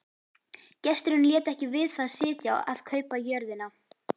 Gesturinn lét ekki við það sitja að kaupa jörðina.